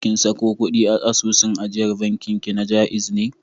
Kin saka ƙuɗi a asusun ajiyar bankin ki na Ja'iz ne?